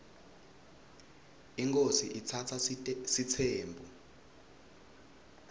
inkhosi iatsatsa sitsembu